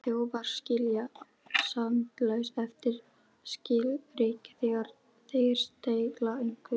Þjófar skilja sjaldnast eftir skilríki þegar þeir stela einhverju.